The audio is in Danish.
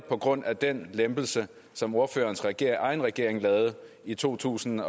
på grund af den lempelse som ordførerens regering regering lavede i to tusind